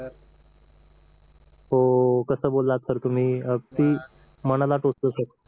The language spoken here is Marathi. हो कस बोललात सर तुम्ही अगदी मनाला टोचत सर